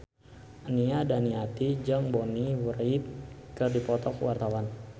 Nia Daniati jeung Bonnie Wright keur dipoto ku wartawan